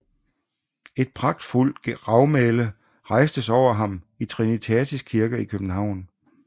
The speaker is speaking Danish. Et pragtfuldt gravmæle rejstes over ham i Trinitatis Kirke i København